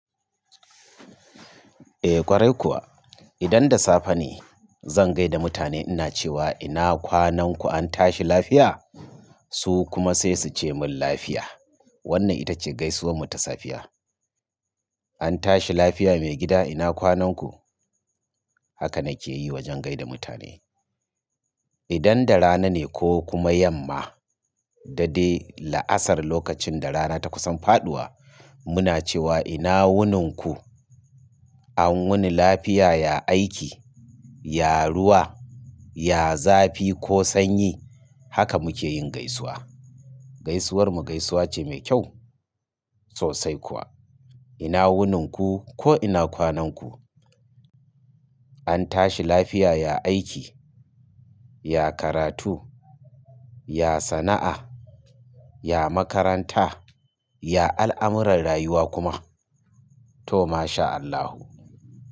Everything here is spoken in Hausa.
Eh ƙwarai kuwa, idan da safe ne zan gaida mutane ina cewa ina kwanan ku an tashi lafiya? Su kuma sai su ce mun lafiya. Wannan ita ce gaisuwar mu ta safiya. An tashi lafiya maigida ina kwanan ku? Haka na ke yi wajen gaida mutane. Idan da rana ne ko kuma yamma, da dai la'asar lokacin da rana ta kusan faɗuwa muna cewa ina wunin ku? An wuni lafiya, ya aiki, ya ruwa, ya zafi ko sanyi. Haka mukeyin gaisuwa. Gaisuwar mu gaisuwa ce mai kyau sosai kuwa. Ina wunan ku ko ina kwanan ku? An tashi lafiya, ya aiki, ya karatu, ya sana'a, ya makaranta, ya al'amuran rayuwa kuma. To ma sha Allahu.